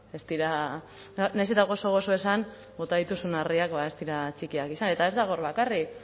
ez dira nahiz eta gozo gozo esan bota dituzun harriak ez dira txikiak izan eta ez dago hor bakarrik